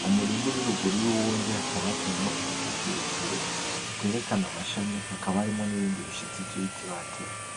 mumurima uri ruguru yuwundi hakaba hateyemwo igiti kirekire kiterekana amashami hakaba harimwo nibindi bishitsi vyibiti batemye .